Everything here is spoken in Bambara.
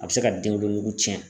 A bi se ka denwolonugu tiɲɛ.